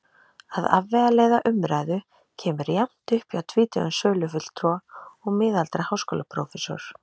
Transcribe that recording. Að afvegaleiða umræðu kemur jafnt upp hjá tvítugum sölufulltrúa og miðaldra háskólaprófessor.